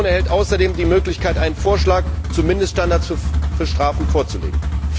Die Kommission erhält außerdem die Möglichkeit, einen Vorschlag zu Mindeststandards für Strafen vorzulegen.